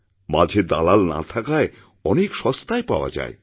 মাঝে দালাল না থাকায় অনেক সস্তায় পাওয়া যায়